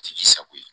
K'i sago ye